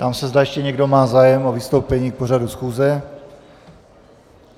Ptám se, zda ještě někdo má zájem o vystoupení k pořadu schůze.